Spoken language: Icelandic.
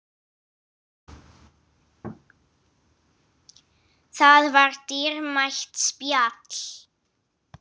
Það var dýrmætt spjall.